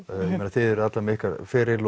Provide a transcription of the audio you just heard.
þið eruð allar með ykkar feril